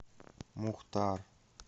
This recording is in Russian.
мухтар